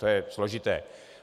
To je složité.